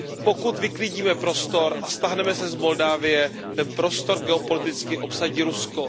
Pokud vyklidíme prostor a stáhneme se z Moldavska, ten prostor geopoliticky obsadí Rusko.